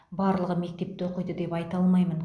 барлығы мектепте оқиды деп айта алмаймын